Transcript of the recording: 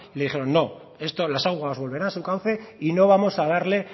le dijeron no esto las aguas volverán a su cauce y no vamos a darle